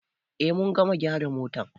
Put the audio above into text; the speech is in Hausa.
Eh mun gama gyara mota.